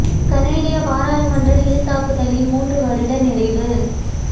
கனேடிய பாராளுமன்ற ஹில் தாக்குதலின் மூன்று வருட நிறைவு